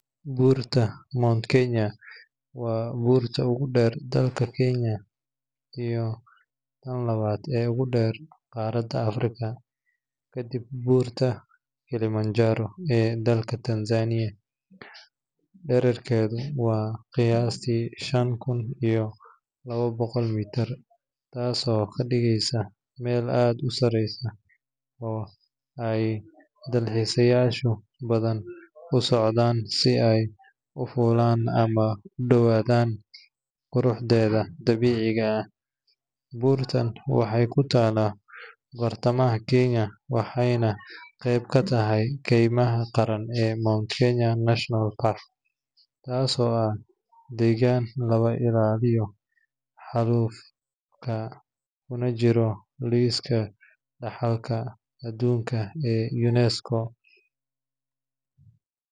Buurta Mount Kenya waa buurta ugu dheer dalka Kenya iyo tan labaad ee ugu dheer qaaradda Afrika, kadib buurta Kilimanjaro ee dalka Tanzania. Dhererkeedu waa qiyaastii shan kun iyo laba boqol mitir, taasoo ka dhigaysa meel aad u sarreysa oo ay dalxiisayaal badan u socdaan si ay u fuulaan ama u daawadaan quruxdeeda dabiiciga ah. Buurtan waxay ku taallaa bartamaha Kenya waxayna qayb ka tahay kaymaha qaran ee Mount Kenya National Park, taasoo ah deegaan laga ilaaliyo xaalufka kuna jira liiska dhaxalka adduunka ee UNESCO.